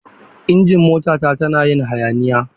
Injin motata tana yin hayaniya.